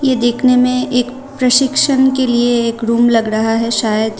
देखने मे एक प्रशिक्षण के लिए एक रूम लग रहा है शायद।